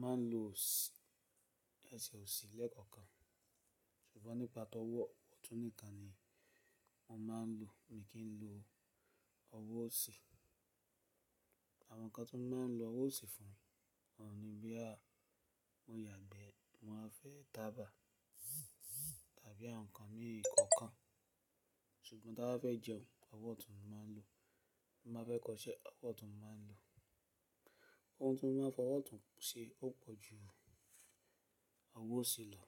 máa ń lo ẹsẹ̀ òsì lẹ́ẹ̀kọ̀kan. Ṣùgbọ́n nípa tó wọ̀ ọ̀tún nìkan ni mo máa ń lò, mi kì í lò ọwọ́ òsì. Àwọn ǹkan tó máa ń lo ọwọ́ òsì fún òun ní boya mo yàgbẹ́, mowa fẹ́ taba tàbí àwọn ǹkan mii kọ̀ọ̀kan. Ṣùgbọ́n tí a be fẹ́ jẹun, ọwọ́ ọ̀tún ni mo máa ń lò. Ma fẹ́ kọṣẹ́, ọwọ́ ọ̀tún mo máa ń lò. Ohun ti mo máa ń fọwọ́ ọ̀tún ṣe ó pọ̀ ju ọwọ́ òsì lọ.